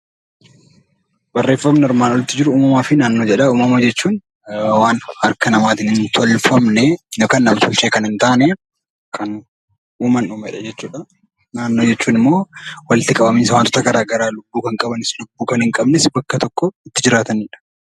Barreeffamni armaan oliitti jiru uumamaa fi naannoo jedha. Uumama jechuun waan harka namaatiin hin tolfamne yookaan nam-tolchee kan hin taane uumamanidha jechuudha. Naannoo jechuun immoo walitti qabamiinsa waantota garaa garaa lubbuu kan qabanis lubbuu kan hin qabnes bakka tokko jiraatanidha.